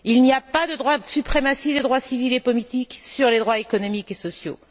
Il n'y a pas de suprématie des droits civils et politiques sur les droits économiques et sociaux.